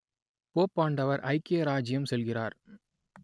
போப்பாண்டவர் ஐக்கிய இராச்சியம் செல்கிறார்